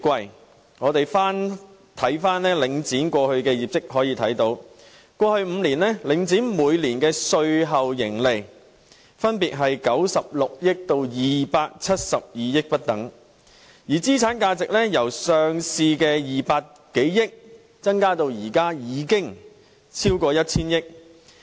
如果我們翻看領展過去的業績，便可以看到，在過去5年，領展每年的稅後盈利分別是96億元至272億元不等，而資產價值由上市時的200多億元增至現在超過 1,000 億元。